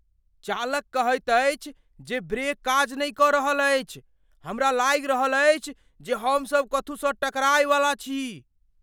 चालक कहैत अछि जे ब्रेक काज नहि कऽ रहल अछि। हमरा लागि रहल अछि जे हमसभ कथू स टकराय वाला छी।